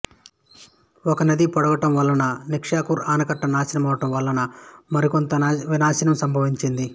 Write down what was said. ఒకనది పొంగడం వలన నిక్షార్ ఆనకట్ట నాశనమవడం వలనా మరికొంత వినాశనం సంభవించింది